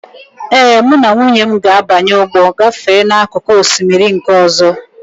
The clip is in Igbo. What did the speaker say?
Ee, mụ na nwunye m ga-abanye ụgbọ gafee n'akụkụ osimiri nke ọzọ.